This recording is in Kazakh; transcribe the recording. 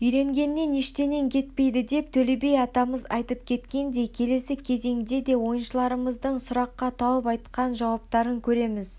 үйренгеннен ештенең кетпейді деп төле би атамыз айтып кеткендей келесі кезеңде де ойыншыларымыздың сұраққа тауып айтқан жауаптарын көреміз